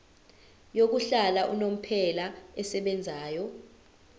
yokuhlala unomphela esebenzayo